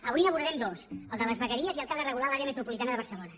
avui n’abordem dos el de les vegueries i el que ha de regular l’àrea metropolitana de barcelona